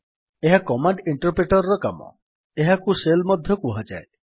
ଏହା command interpreter ର କାମ ଏହାକୁ ଶେଲ୍ ମଧ୍ୟ କୁହାଯାଏ